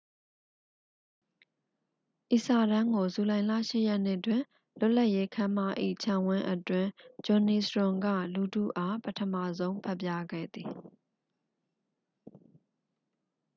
ဤစာတမ်းကို ဇူလိုင်လ 8 ရက်နေ့တွင် လွတ်လပ်ရေးခန်းမ၏ ခြံဝင်းအတွင်း ဂျွန်နီစ်ရွန် က လူထုအား ပထမဆုံး ဖတ်ပြခဲ့သည်